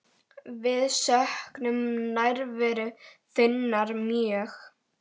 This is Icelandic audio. Við söknum nærveru þinnar mjög.